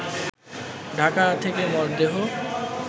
ঢাকা থেকে মরদেহ